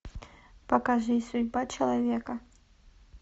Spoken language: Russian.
покажи судьба человека